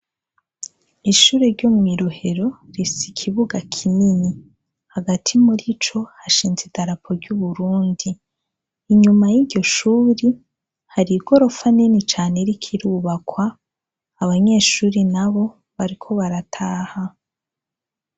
Ishure ryo mwi Rohero rifise ikibuga kinini, hagati murico hashinze idarapo ry'u Burundi, inyuma y'iryo shure hari igorofa nini cane iriko irubakwa, abanyeshure nabo bariko barataha.